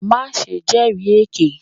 Maṣe jẹri eke!